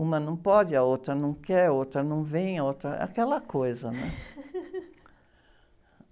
Uma não pode, a outra não quer, a outra não vem, a outra, aquela coisa.